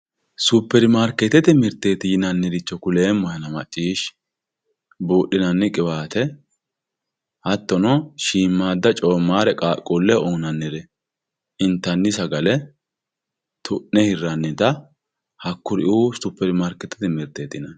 Superimarketete mirte yinaniricho kulemohenna macishi budhinanni qiwatte hatono shimada comarre qaquleho uyinanire intani sagale tune hiranita hakuriu supermarketete mirteti yinani